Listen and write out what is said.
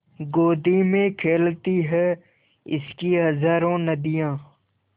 गोदी में खेलती हैं इसकी हज़ारों नदियाँ